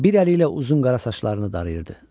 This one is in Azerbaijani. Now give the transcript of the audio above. Bir əli ilə uzun qara saçlarını darayırdı.